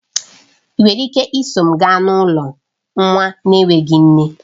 Ị nwere ike iso m gaa n'ụlọ nwa na-enweghị nne?